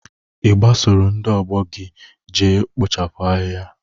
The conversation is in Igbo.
Ị gbasoro ndị ọgbọ gị je kpochapụ ahịhịa?